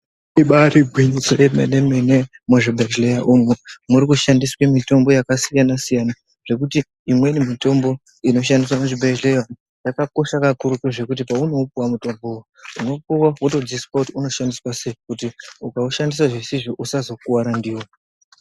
Ibari gwinyiso remene mene muzvibhedhlera umu murikushandiswa mitombo yakasiyana siyana zvekuti imweni mitombo inoshandiswa muzvibhedhlera zvakakosha kakurutu zvekuti paunoupuwa mutombo uyu unopuwa zvekudzidziswa kuti unoshandiswa sei kuti ukaushandiswa zvese usazouraiwa.